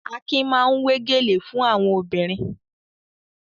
Akin máa ń wé gèlè fún àwọn obìnrin.